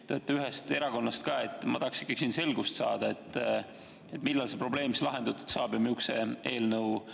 Te olete ühest erakonnast ja ma tahaksin ikkagi selgust saada, millal see probleem lahendatud saab ja missuguse eelnõu kujul.